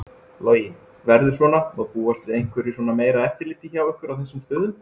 Logi: Verður svona, má búast við einhverju svona meira eftirliti hjá ykkur á þessum stöðum?